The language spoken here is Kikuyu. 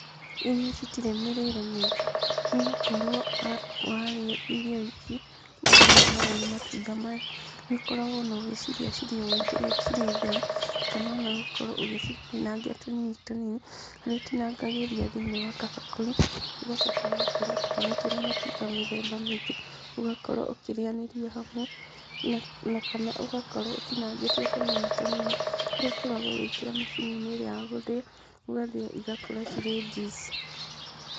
Irio ici itire mĩrĩre mĩingĩ, nĩgũkorwo warĩa irio ici, marĩa nĩ harĩa nĩ matunda maya nĩũkoragwo ono ũgĩcirĩa cirĩ ũũ cirĩ theri, kana ona ũgakorwo ũgĩcitinangia tũnini tũnini, harĩa ũtinangagĩria thĩi-inĩ wa kabakũri, ũgacoka ũgakorwo ũtukanĩtie na matunda mĩthemba mĩingĩ, ũgakorwo ũkĩrĩanĩria hamwe, ona kana ũgakorwo ũtinangĩtie tũnini tũnini, harĩa ũkoragwo ũgĩkĩra macini-inĩ ĩrĩa ya gũthĩya, ũgathĩya cigakorwo cirĩ juice.